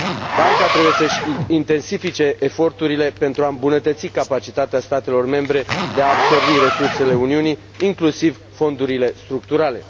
Banca trebuie să și intensifice eforturile pentru a îmbunătăți capacitatea statelor membre de a absorbi resursele Uniunii, inclusiv fondurile structurale.